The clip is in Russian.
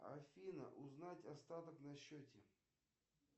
афина узнать остаток на счете